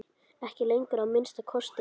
Ekki lengur, að minnsta kosti.